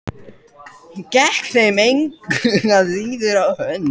Gekk þeim engu að síður á hönd.